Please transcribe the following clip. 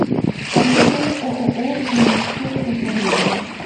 поехали ооо жилищное управление